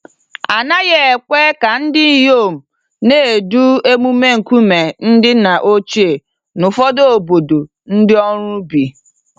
A naghị ekwe ka ndinyom na-edu emume nkume ndị nna ochie n'ụfọdụ obodo ndị ọrụ ubi.